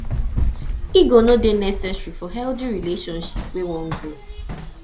ego no dey necessary for a healthy relationship wey wan grow